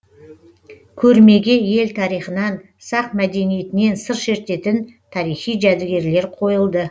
көрмеге ел тарихынан сақ мәдениетінен сыр шертетін тарихи жәдігерлер қойылды